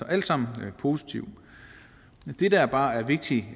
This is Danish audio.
alt sammen positivt det der bare er vigtigt